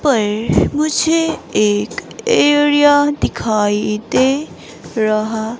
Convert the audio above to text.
पर मुझे एक एरिया दिखाई दे रहा--